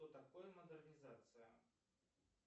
что такое модернизация